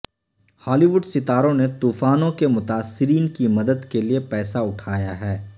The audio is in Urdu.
ہالی وڈ ستاروں نے طوفانوں کے متاثرین کی مدد کے لئے پیسہ اٹھایا ہے